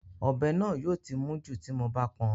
Ọ̀bẹ náà yóò ti mún jù tí mo bá pọn